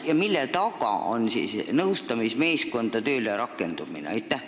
Mille taga seisab nõustamismeeskondade tööle rakendumine?